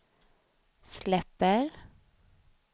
släpper